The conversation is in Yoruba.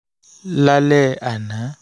lálẹ́ àná